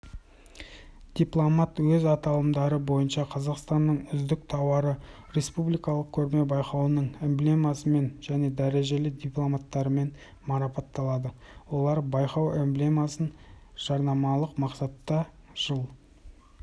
дипломант өз аталымдары бойынша қазақстанның үздік тауары республикалық көрме-байқауының эмблемасымен және дәрежелі дипломдарымен марапатталады олар байқау эмблемасын жарнамалық мақсатта жыл